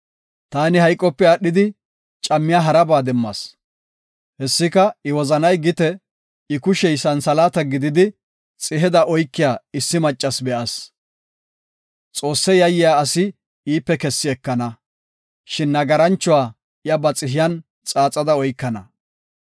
Taani hayqope aadhidi cammiya haraba demmas. Hessika, I wozanay gite, I kushey santhalaata gididi xiheda oykiya issi maccas be7as. Xoosse yayiya asi iipe kessi ekana; shin nagaranchuwa iya ba xihiyan xaaxada oykana.